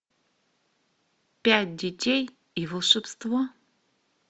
пять детей и волшебство